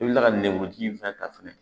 I bɛ kila ka nɛnku ji in fana ta fɛnɛ